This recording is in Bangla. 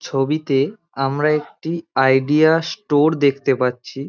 ছবিতে আমরা একটি আইডিয়া স্টোরে দেখতে পাচ্ছি।